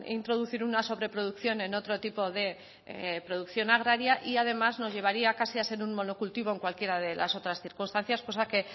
introducir una sobreproducción en otro tipo de producción agraria y además nos llevaría casi a hacer un monocultivo en cualquiera de las otras circunstancias cosa que